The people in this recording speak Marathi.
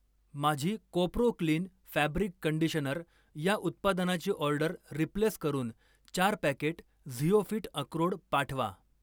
माझी कोपरो क्लीन फॅब्रिक कंडिशनर या उत्पादनाची ऑर्डर रिप्लेस करून चार पॅकेट झिओफिट अक्रोड पाठवा.